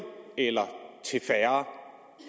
eller til færre